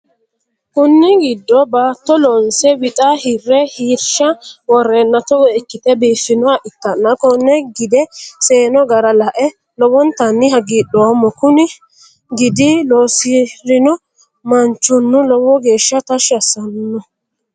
Kunni gidi baatto loonse wixa hire harisha woreenna Togo ikite biifinoha ikanna konne gide seeno gara lae lowontanni hagidhoomo. Kunni gidi loosirino manchono lowo geesha tashi asino.